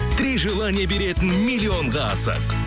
три желание беретін миллионға асық